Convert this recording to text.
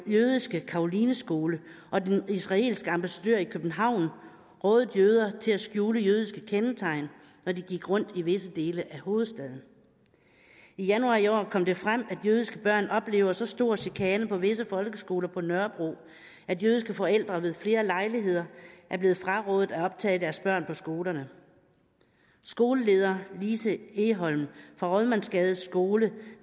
jødiske karolineskole og den israelske ambassadør i københavn rådede jøder til at skjule jødiske kendetegn når de gik rundt i visse dele af hovedstaden i januar i år kom det frem at jødiske børn oplever så stor chikane på visse folkeskoler på nørrebro at jødiske forældre ved flere lejligheder er blevet frarådet at optage deres børn på skolerne skoleleder lise egholm fra rådmandsgade skole